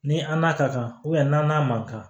Ni an n'a ka kan n'a n'a man kan